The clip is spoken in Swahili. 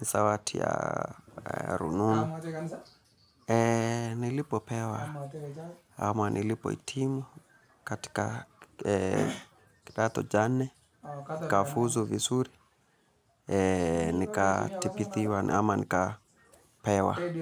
Ni zawadi ya rununu. Nilipopewa ama nilipo hitimu katika kidato cha nne. Nikafuzu vizuri, nikatibithiwa ama nikapewa.